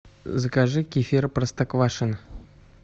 закажи кефир простоквашино